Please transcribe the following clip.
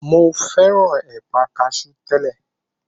Mo fẹ́ràn ẹ̀pà kasú tẹ́lẹ̀.